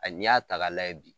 A n'i y'a ta k'a lajɛ bi.